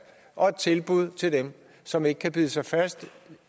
og et tilbud til dem som ikke kan bide sig fast